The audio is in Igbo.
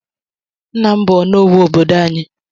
Nna m bụ ọnụówù obodo anyị.